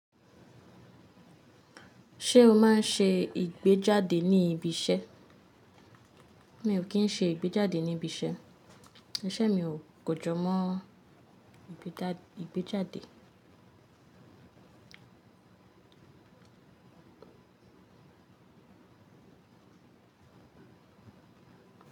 Ṣé o máa ń ṣe ìgbéjáde ní ibi iṣẹ́? Mi ò kí ń ṣe ìgbéjáde ní ibi iṣẹ́. Iṣẹ́ mi ò kọjọ mọ́ ìgbéjáde.